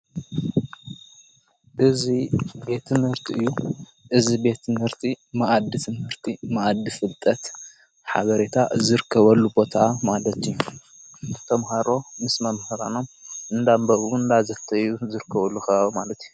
ብዙይ ቤትንርቲ እዩ እዝ ቤትንህርቲ መኣድ ትንህርቲ መኣዲ ፍልጠት ሓበሬታ ዝርከበሉ ቦታ ማለት እዩ ተምሃሮ ምስ መምህራኖም እንዳንበብን ንዳዘተዩ ዘርከበሉ ኸባቢ ማለት እዩ።